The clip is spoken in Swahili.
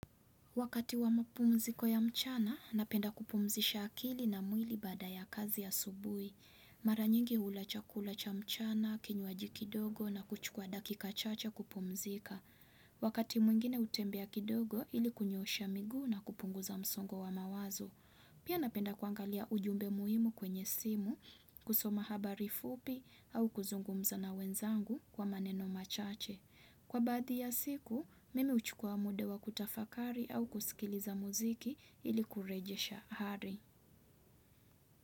Wakati wa mpumziko ya mchana, napenda kupumzisha akili na mwili baada ya kazi asubuhi. Mara nyingi hula chakula cha mchana, kinywaji kidogo na kuchukua dakika chache kupumzika. Wakati mwingine hutembea kidogo, ili kunyorosha miguu na kupunguza msongo wa mawazo. Pia napenda kuangalia ujumbe muhimu kwenye simu, kusoma habari fupi au kuzungumza na wenzangu kwa maneno machache. Kwa baadhi ya siku, mimi huchukua muda wa kutafakari au kusikiliza muziki ili kurejesha hari.